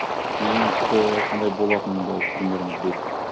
мен оны тіпті қандай болатынын да примерно білемін